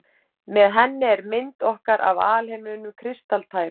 Með henni er mynd okkar af alheiminum kristaltær.